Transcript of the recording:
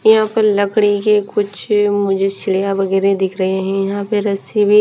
यहाँ पर लड़की के कुछ मुझे वगेरह दिख रहे है यहाँ पे रस्सी भी --